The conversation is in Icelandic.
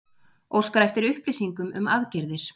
Óskar eftir upplýsingum um aðgerðir